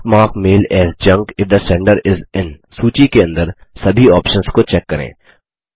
do not mark mail as junk if the sender is in सूची के अंदर सभी ऑप्शन्स को चेक करें